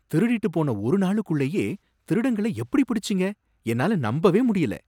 திருடிட்டுப் போன ஒரு நாளுக்குள்ளயே திருடங்களை எப்படி பிடிச்சீங்க என்னால நம்பவே முடியல.